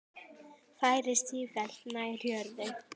Færist sífellt nær jörðu.